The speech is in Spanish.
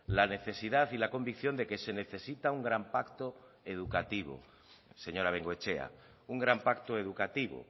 la necesidad y la convicción de que se necesita un gran pacto educativo señora bengoechea un gran pacto educativo